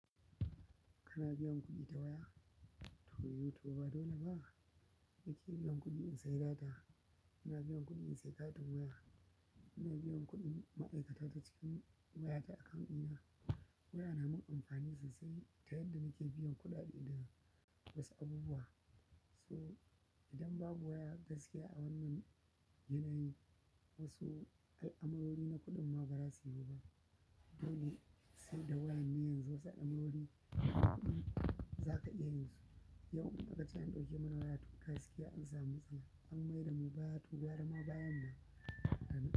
Kana biyan kuɗi ta waya? To, YouTube ba dole ba. Ni ke biyan kuɗi in sayi data, ina biyan kuɗi in sayi katin waya, ina biyan kuɗin ma'aikata ta cikin wayata a kan iya. Waya na min amfani sosai ta yadda na ke biyan kuɗaɗe da wasu abubuwa. So idan babu waya gaskiya a wannan yanayi, wasu alamarori na kuɗin ma ba za su yiwu ba. Dole sai da waya ne yanzu wasu al'amarori za ka iya yin su. Yau in akace an ɗauke muni waya gaskiya an sa mu matsala, an maida nu baya, kai gwara bayan.